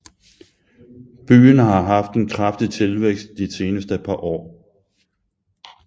Byen har haft en kraftig tilvækst de seneste par år